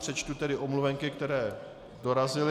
Přečtu tedy omluvenky, které dorazily.